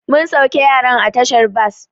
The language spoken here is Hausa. Mun sauke yaran a tashar bas.